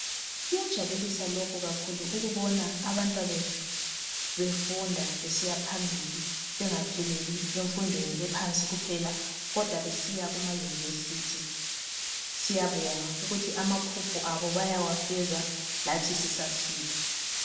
Kuyajabulisa lokhu kakhulu ukubona abantwabethu befunda besiya phambili, bengapheleli emfundweni ephansi kuphela, kodwa besiya kuma-university. Siyabonga ukuthi amaphupho abo bayawafeza lathi sisaphila.